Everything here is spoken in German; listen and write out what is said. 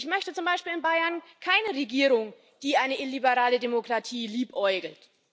Ich möchte zum Beispiel in Bayern keine Regierung, die mit einer illiberalen Demokratie liebäugelt.